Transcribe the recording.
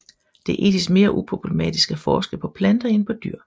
Det er etisk mere uproblematisk at forske på planter end på dyr